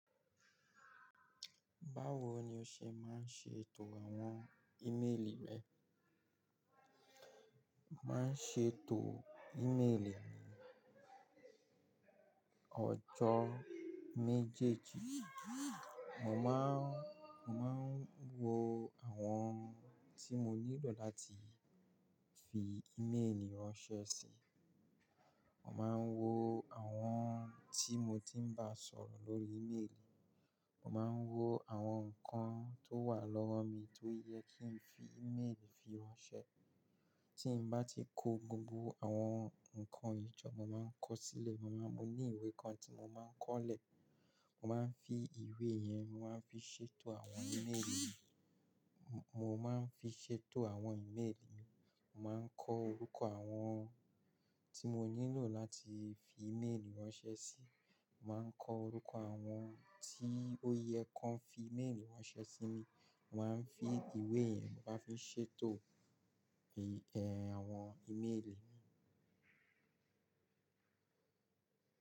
Báwo ni o ṣe máa ń ṣe ètò àwọn ímeèlì rẹ? Máa ń ṣe ètò ímeèlì mi ọjọ́ méjèèjì. Mo máa ń, mo máa ń wo àwọn tí mo nílò láti fi ímeèlì ránṣẹ́ sí. Mo máa ń wo àwọn tí mo ti ń bá sọ̀rọ̀ lórí ímeèlì. Mo máa ń wo àwọn nǹkan tó wà lọ́wọ́ mi tó yẹ kí n fi ímeèlì fi ránṣẹ́. Tí n bá ti kó gbogbo àwọn nǹkan yì jọ mo máa ń kọ sílẹ̀. Mo máa ń, mo ní ìwé kan tí mo máa ń kọ́olẹ̀. Mo máa ń fi ìwé yẹn, mo máa ń fi ṣètò àwọn ímeèlì mi. Mo máa ń fi ṣe ètò àwọn ímeèlì mi. Mo máa ń kọ orúkọ àwọn tí mo nílò láti fi ímeèlì ránṣẹ́ sí. Mo máa ń kọ orúkọ àwọn tí ó yẹ kó ń fi ímeèlì ránṣẹ́ sí mi. Mo máa ń fi ìwé yẹn, mo bá fi ṣe ètò, ẹ, àwọn ímeèlì mi.